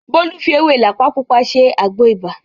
Bólú fi ewé làpá Pupa ṣe àgbo ibà